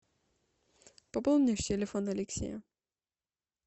пополни телефон алексея